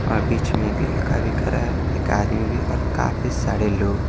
और बीच में एक लड़का भी खड़ा है एक आदमी भी और काफी सारे लोग --